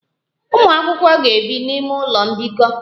Ụmụ akwụkwọ na-ebi n'ụlọ mbikọ